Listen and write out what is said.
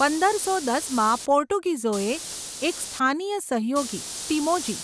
પંદરસો દસમાં, પોર્ટુગીઝોએ એક સ્થાનીય સહયોગી, ટીમોજી,